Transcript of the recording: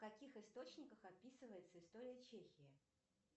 в каких источниках описывается история чехии